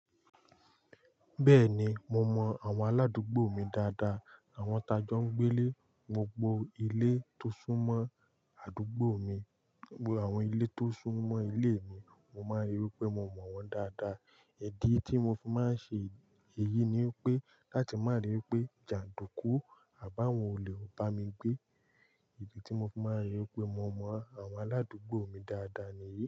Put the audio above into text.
Bẹ́ẹ̀ ni, mo mọ àwọn aládùúgbò mi dáadáa. Àwọn tajọ gbélé gbogbo ilé tó sún mọ́ àdúgbò mi, gbogbo àwọn ilé tó sún mọ́ ilé mi, mo máa ń ríi pé mo mọ̀ wọ́n dáadáa. Ìdí tí mo fi máa ń ṣe èyí ni pé láti má ríi pé jàndùkú àbáwọ̀n olè ò bá mi gbé. Ìdí tí mo fi máa ń rí i pé mo mọ àwọn aládùúgbò mi dáadáa nìyí.